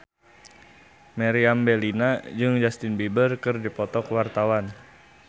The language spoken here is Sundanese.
Meriam Bellina jeung Justin Beiber keur dipoto ku wartawan